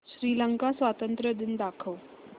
श्रीलंका स्वातंत्र्य दिन दाखव